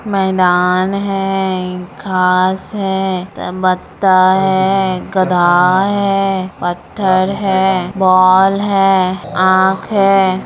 मैदान है घास है त् बत्ता है गधा है पत्थर है बॉल है आँख है।